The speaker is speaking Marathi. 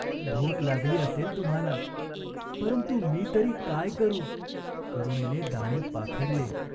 भूक लागली असेल तुम्हाला. परंतु मी तरी काय करू ?" करुणेने दाणे पाखडले.